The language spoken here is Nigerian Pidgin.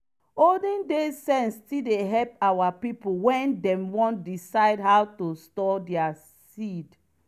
olden days sense still dey help our pipo wen dem wan decide how to store their seed.